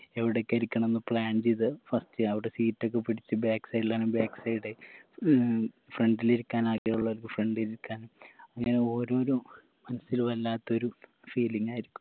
എവിടൊക്കെ ഇരിക്കണംന്ന് plan ചെയ്ത് first അവിടെ seat ഒക്കെ പിടിച്ച് back side ലാണെ back side ഉം front ലിരിക്കാൻ ആഗ്രഹമുള്ളവർക്ക് front ലിരിക്കാനും അങ്ങനെ ഓരോരോ മനസ്സില് വല്ലാത്തൊരു feeling ആയിരിക്കും